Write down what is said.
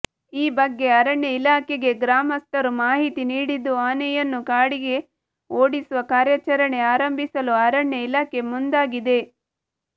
ಈ ಬಗ್ಗೆ ಅರಣ್ಯ ಇಲಾಖೆಗೆ ಗ್ರಾಮಸ್ಥರು ಮಾಹಿತಿ ನೀಡಿದ್ದು ಆನೆಯನ್ನು ಕಾಡಿಗೆ ಓಡಿಸುವ ಕಾರ್ಯಚರಣೆ ಆರಂಭಿಸಲು ಅರಣ್ಯ ಇಲಾಖೆ ಮುಂದಾಗಿದೆ